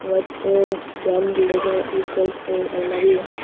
White और brown colour का ये शेल्फ और अलमारी हैं।